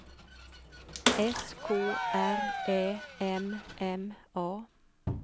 S K R Ä M M A